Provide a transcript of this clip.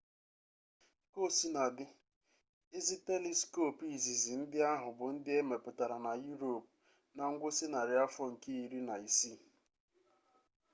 kaosinadị ezi teliskop izizi ndị ahụ bụ ndị e mepụtara na yurop na ngwụsị narị afọ nke iri na isii